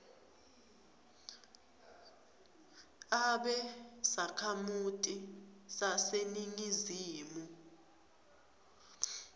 abe sakhamuti saseningizimu